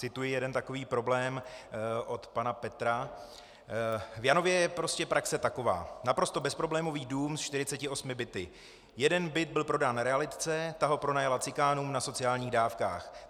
Cituji jeden takový problém od pana Petra: "V Janově je prostě praxe taková: Naprosto bezproblémový dům se 48 byty, jeden byt byl prodán realitce, ta ho pronajala cikánům na sociálních dávkách.